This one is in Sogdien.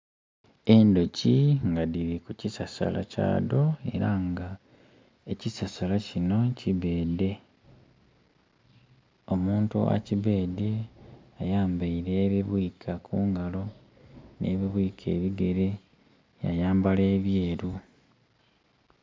Endhoki nga dhiri ku kisasala kya dho era nga ekisasala kino kibeede, omuntu akibeedye ayambeire ebibwika ku ngalo n'ebibwika ebigere yayambala ebyeru.